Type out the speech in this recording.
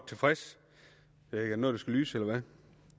tilfreds med